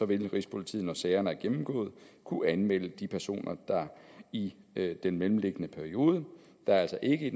vil rigspolitiet når sagerne er gennemgået kunne anmelde de personer der i den mellemliggende periode altså ikke